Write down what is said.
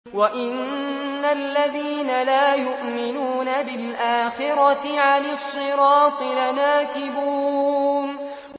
وَإِنَّ الَّذِينَ لَا يُؤْمِنُونَ بِالْآخِرَةِ عَنِ الصِّرَاطِ لَنَاكِبُونَ